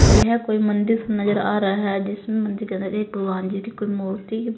यह कोई मंदिर नजर आ रहा है जिसमें मंदिर के अंदर एक भगवान जी की कोई मूर्ति--